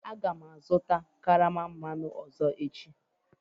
Aga m azụta karama mmanụ tomorroe ọzọ